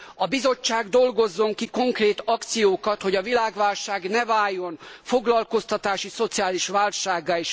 A Bizottság dolgozzon ki konkrét akciókat, hogy a világválság ne váljon foglalkoztatási, szociális válsággá.